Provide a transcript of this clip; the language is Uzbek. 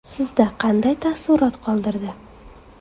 Sizda qanday taassurot qoldirdi?